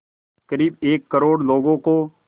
क़रीब एक करोड़ लोगों को